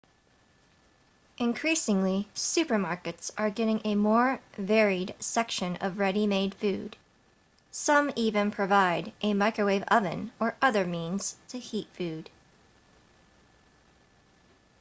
increasingly supermarkets are getting a more varied section of ready-made food some even provide a microwave oven or other means to heat food